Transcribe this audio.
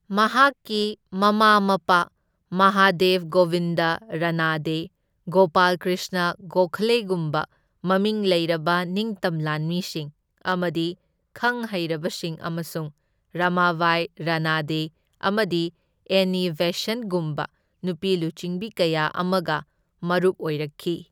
ꯃꯍꯥꯛꯀꯤ ꯃꯃꯥ ꯃꯄꯥ ꯃꯍꯥꯗꯦꯕ ꯒꯣꯕꯤꯟꯗ ꯔꯥꯅꯥꯗꯦ, ꯒꯣꯄꯥꯜ ꯀ꯭ꯔꯤꯁꯅ ꯒꯣꯈꯂꯦꯒꯨꯝꯕ ꯃꯃꯤꯡ ꯂꯩꯔꯕ ꯅꯤꯡꯇꯝ ꯂꯥꯟꯃꯤꯁꯤꯡ ꯑꯃꯗꯤ ꯈꯪꯍꯩꯔꯕꯁꯤꯡ ꯑꯃꯁꯨꯡ ꯔꯥꯃꯥꯕꯥꯏ ꯔꯥꯅꯥꯗꯦ, ꯑꯃꯗꯤ ꯑꯦꯟꯅꯤ ꯕꯦꯁꯟꯠꯒꯨꯝꯕ ꯅꯨꯄꯤ ꯂꯨꯆꯤꯡꯕꯤ ꯀꯌꯥ ꯑꯃꯒ ꯃꯔꯨꯞ ꯑꯣꯏꯔꯛꯈꯤ꯫